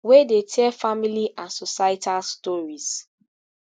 wey dey tell family and societal stories